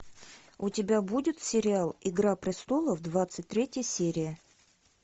у тебя будет сериал игра престолов двадцать третья серия